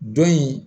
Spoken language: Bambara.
Dɔ in